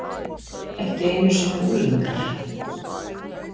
Ekki einu sinni unglingar.